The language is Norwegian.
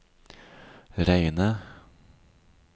reine